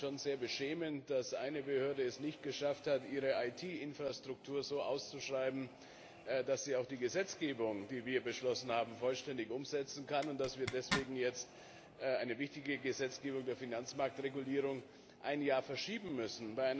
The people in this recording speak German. Ich finde es schon sehr beschämend, dass eine Behörde es nicht geschafft hat, ihre IT Infrastruktur so auszuschreiben, dass sie auch die Gesetzgebung, die wir beschlossen haben, vollständig umsetzen kann, und dass wir deswegen jetzt eine wichtige Gesetzgebung der Finanzmarktregulierung um ein Jahr verschieben müssen.